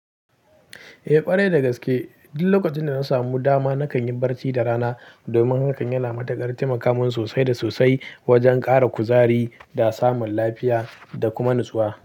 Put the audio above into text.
Eh ƙwarai da gaske. Duk lokacin da na samu dama nakan yi barci da rana domin hakan yana mataƙar taimaka min sosai da sosai wajen ƙara kuzari da samun lafiya da kuma natsuwa.